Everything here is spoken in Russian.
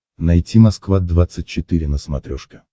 найти москва двадцать четыре на смотрешке